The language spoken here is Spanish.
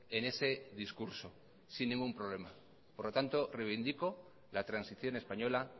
en ese discurso sin ningún problema por lo tanto reivindico la transición española